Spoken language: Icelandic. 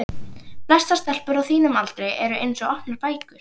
Flestar stelpur á þínum aldri eru eins og opnar bækur.